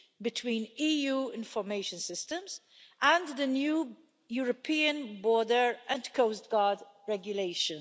between EU information systems and the new European border and Coast Guard regulation.